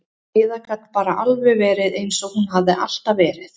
Heiða gat bara alveg verið eins og hún hafði alltaf verið.